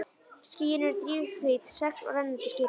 Skýin eru drifhvít segl á rennandi skipi.